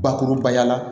Bakurubaya la